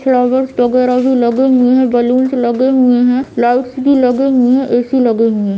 Flowers वगेरा भी लगे हुए है बलूंस लगे हुए है लाइट्स भी लगे हुए है ए.सी. लगे हुए है।